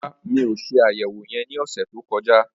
Rárá, mi ò se àyẹ̀wò yẹn ní ọ̀sẹ̀ tó kọjá